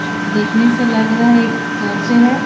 देखने से लग रहा हैं एक चर्च है।